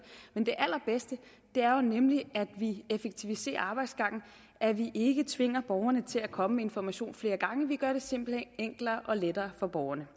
allerbedste er jo nemlig at vi effektiviserer arbejdsgangene at vi ikke tvinger borgerne til at komme med information flere gange vi gør det simpelt hen enklere og lettere for borgerne